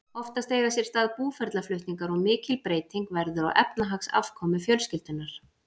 Oftast eiga sér stað búferlaflutningar og mikil breyting verður á efnahagsafkomu fjölskyldunnar.